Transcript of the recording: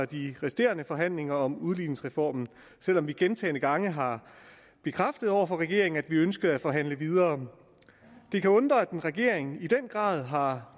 de resterende forhandlinger om udligningsreformen selv om vi gentagne gange har bekræftet over for regeringen at vi ønskede at forhandle videre det kan undre at en regering som i den grad har